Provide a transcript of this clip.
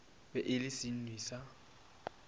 be e le senwi sa